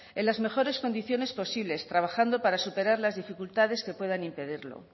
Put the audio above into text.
en las mejores condiciones posibles trabajando para superar las dificultades que puedan impedirlo